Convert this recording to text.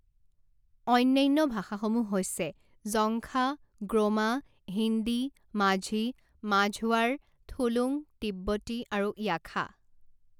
অন্যান্য ভাষাসমূহ হৈছে জঙ্খা, গ্ৰোমা, হিন্দী, মাঝি, মাঝৱাৰ, থুলুঙ, তিব্বতী আৰু য়াখা।